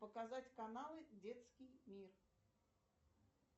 показать каналы детский мир